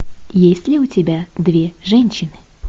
есть ли у тебя две женщины